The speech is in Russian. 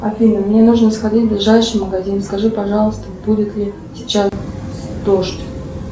афина мне нужно сходить в ближайший магазин скажи пожалуйста будет ли сейчас дождь